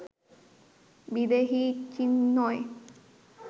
বিদেহী, চিন্ময়